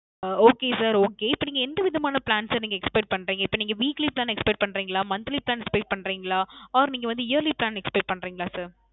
அஹ் Okay Sir Okay இப்போ நீங்க எந்த விதமான Plan Sir நீங்க Expect பண்றிங்களா இப்போ நீங்க Weekly Plan Expect பண்றிங்களா Monthly plan expect பண்றிங்களா Or நீங்க Yearly plan expect பண்றிங்களா Sir